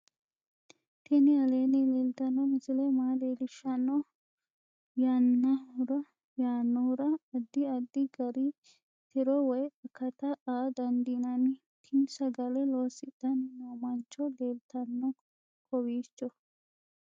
tini aleenni leeltanno misile maa leellishshanno yaannohura addi addi gari tiro woy akata aa dandiinanni tini sagale loosidhanni noo mancho leeltanno kowiicho